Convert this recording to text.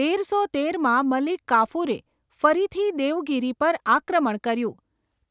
તેરસો તેરમાં મલિક કાફુરે ફરીથી દેવગિરિ પર આક્રમણ કર્યું,